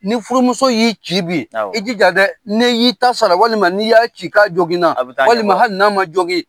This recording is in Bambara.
Ni furumuso y'i ci bi i jija dɛ ne y'i ta sara walima n'i y'a ci ka joginina walima hali n'a ma jogin